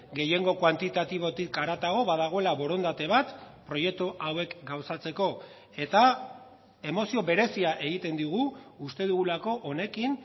gehiengo kuantitatibotik haratago badagoela borondate bat proiektu hauek gauzatzeko eta emozio berezia egiten digu uste dugulako honekin